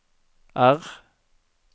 R